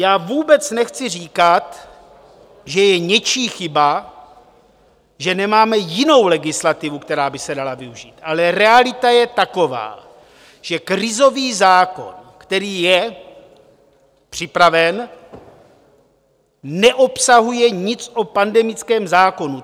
Já vůbec nechci říkat, že je něčí chyba, že nemáme jinou legislativu, která by se dala využít, ale realita je taková, že krizový zákon, který je připraven, neobsahuje nic o pandemickém zákonu.